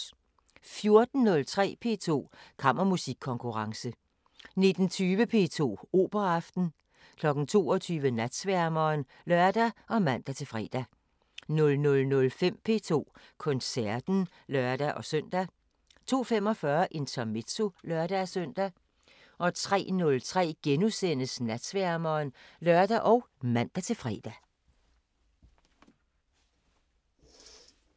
14:03: P2 Kammermusikkonkurrence 19:20: P2 Operaaften 22:00: Natsværmeren (lør og man-fre) 00:05: P2 Koncerten (lør-søn) 02:45: Intermezzo (lør-søn) 03:03: Natsværmeren *(lør og man-fre)